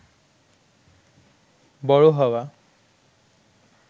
বড় হওয়া